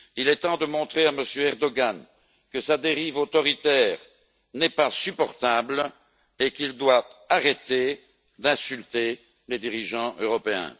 Il est temps de montrer à M. Erdogan que sa dérive autoritaire n'est pas supportable et qu'il doit arrêter d'insulter les dirigeants européens.